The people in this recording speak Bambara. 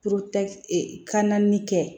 e kan naani kɛ